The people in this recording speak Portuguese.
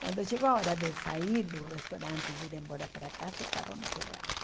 Quando chegou a hora de sair do restaurante e vir embora para cá, o carro não pegava.